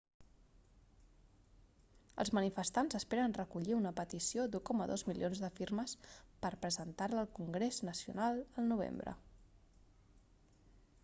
els manifestants esperen recollir una petició d'1,2 milions de firmes per presentar-la al congrés nacional el novembre